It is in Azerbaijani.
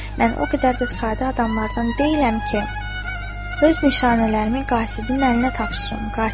Mən o qədər də sadə adamlardan deyiləm ki, öz nişanələrimi qasibin əlinə tapşırım.